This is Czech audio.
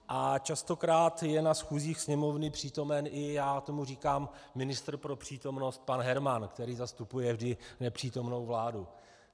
A častokrát je na schůzích Sněmovny přítomen i - já tomu říkám ministr pro přítomnost, pan Herman, který zastupuje vždy nepřítomnou vládu.